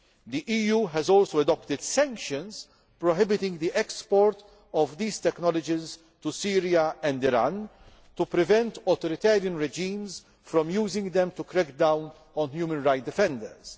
The EU has also adopted sanctions prohibiting the export of these technologies to Syria and Iran, to prevent authoritarian regimes from using them to crack down on human rights defenders.